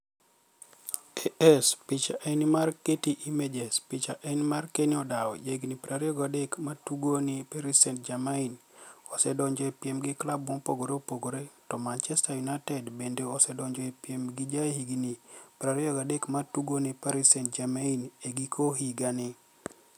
(AS) Picha eni mar Getty Images Picha eni mar Keni odawo, jahignii 23, ma tugo ni e Paris Saainit-Germaini, osedonijo e piem gi klab mopogore opogore, to Manichester Uniited benide osedonijo e piem gi jahignii 23 ma tugo ni e Paris Saainit-Germaini e giko higanii.